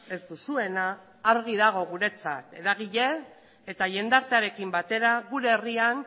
ez duzuena argi dago guretzat eragile eta jendartearekin batera gure herrian